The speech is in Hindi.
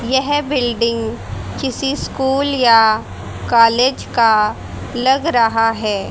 यह बिल्डिंग किसी स्कूल या कॉलेज का लग रहा है।